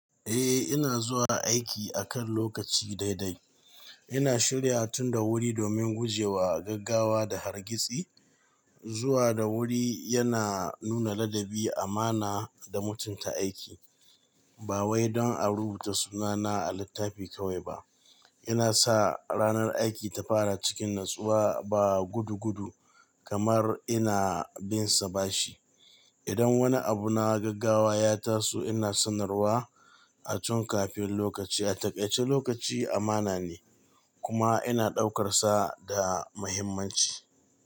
Eh ina zuwa aiki akan lokaci dai dai. Ina shirya tun da wuri domin guje wa gaggawa da hargitsi. Zuwa da wuri yana nuna ladabi, amana da mutunta aiki. Ba wai don a rubuta sunana a littafi kawai ba. Ina sa ranar aiki ta fara cikin natsuwa ba gudu gudu kamar ina binsa bashi. Idan wani abu na gaggawa ya taso ina sanarwa a can kafin lokaci. A takai ce lokaci amana ne kuma ina ɗaukarsa da muhimmanci.